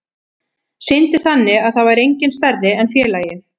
Sýndi þannig að það væri enginn stærri en félagið.